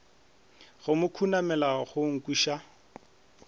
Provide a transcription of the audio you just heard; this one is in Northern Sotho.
go mo khunamela go nkweša